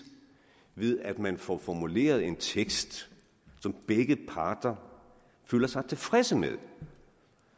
ved at man får formuleret en tekst som begge parter føler sig tilfredse med